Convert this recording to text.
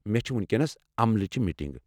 مےٚ چھےٚ وینکینس عملٕچہِ میٹنگ۔